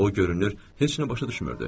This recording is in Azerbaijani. O görünür heç nə başa düşmürdü.